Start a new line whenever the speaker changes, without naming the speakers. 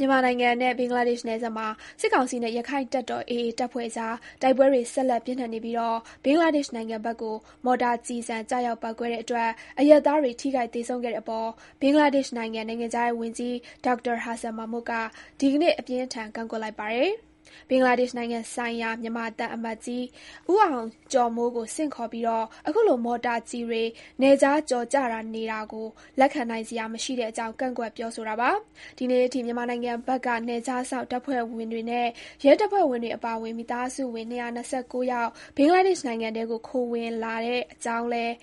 မြန်မာနိုင်ငံနဲ့ ဘင်္ဂလားဒေ့ရှ်နယ်စပ်မှာ စစ်ကောင်စီနဲ့ ရက္ခိုင့်တပ်တော် AAတပ်ဖွဲ့အကြား တိုက်ပွဲတွေ ဆက်လက် ပြင်းထန်နေပြီး ဘင်္ဂလားဒေ့ရှ်နိုင်ငံဘက်ကို မော်တာကျည်ဆံ ကျရောက်ပေါက်ကွဲတဲ့အတွက် အရပ်သားတွေ ထိခိုက်သေဆုံးခဲ့တဲ့အပေါ် ဘင်္ဂလားဒေ့ရှ်နိုင်ငံ နိုင်ငံခြားရေးဝန်ကြီး Dr Hasan Mahmud က ဒီနေ့ အပြင်းအထန် ကန့်ကွက်လိုက်ပါတယ်။ ဘင်္ဂလားဒေ့ရှ်နိုင်ငံဆိုင်ရာ မြန်မာသံအမတ်ကြီး ဦးအောင်ကျော်မိုးကို ဆင့်ခေါ်ပြီး အခုလို မော်တာကျည်တွေ နယ်ခြားကျော်ကျနေတာကို လက်ခံနိုင်စရာ မရှိတဲ့အကြောင်း ကန့်ကွက်ပြောဆိုတာပါ။ ဒီနေ့အထိ မြန်မာနိုင်ငံဘက်က နယ်ခြားစောင့်တပ်ဖွဲ့ဝင်တွေနဲ့ ရဲတပ်ဖွဲ့ဝင်တွေ အပါအဝင် မိသားစုဝင် ၂၂၉ ယောက် ဘင်္ဂလားဒေ့ရှ်နိုင်ငံထဲကို ခိုဝင်လာတဲ့အကြောင်းလည်း